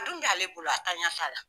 A dun bɛ' ale bolo a taɲa t'a la.